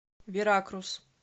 веракрус